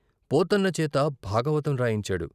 పోతన్న చేత భాగవతం రాయించాడు.